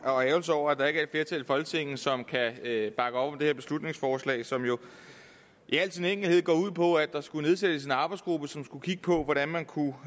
og ærgrelse over at der ikke er et flertal i folketinget som kan bakke op om det her beslutningsforslag som jo i al sin enkelthed går ud på at der skulle nedsættes en arbejdsgruppe som skulle kigge på hvordan man kunne